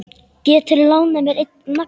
Geturðu lánað mér einn nagla.